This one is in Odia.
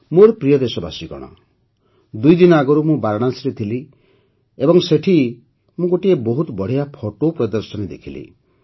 ମୋର ପ୍ରିୟ ଦେଶବାସୀଗଣ ଦୁଇଦିନ ଆଗରୁ ମୁଁ ବାରାଣସୀରେ ଥିଲି ଏବଂ ସେଠି ମୁଁ ଗୋଟିଏ ବହୁତ ବଢ଼ିଆ ଫଟୋ ପ୍ରଦର୍ଶନୀ ଦେଖିଲି